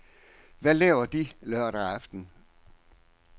Hvad laver de lørdag aften?